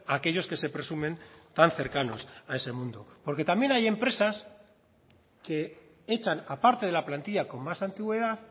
a aquellos que se presumen tan cercanos a ese mundo porque también hay empresas que echan a parte de la plantilla con más antigüedad